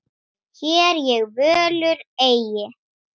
Hér ég völur eygi.